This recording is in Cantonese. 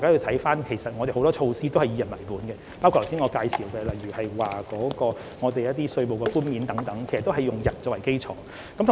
不過，其實我們有很多措施是"以個人為本"，包括我剛才介紹的稅務寬免，也是以個人作為基礎。